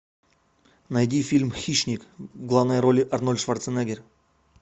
найди фильм хищник в главной роли арнольд шварценеггер